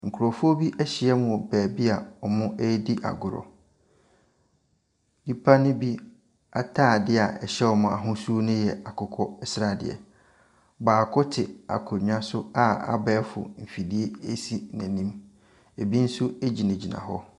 Nkurɔfoɔ bi ahyia mu wɔ beebi a agorɔ, nnipa ne bi ataadeɛ a ɛhyɛ wɔn no ahosuo no yɛ akokɔsradeɛ. Baako te akonnwa so a abɛɛfo afidie si n’anim, bi nso gyinagyina hɔ.